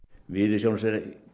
við